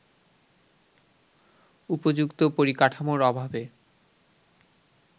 উপযুক্ত পরিকাঠামোর অভাবে